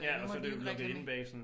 Øh nu må de jo ikke reklame